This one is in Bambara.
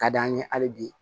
Ka d'an ye hali bi